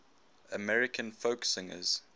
american folk singers